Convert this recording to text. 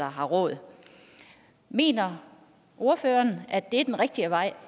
har råd mener ordføreren at det er den rigtige vej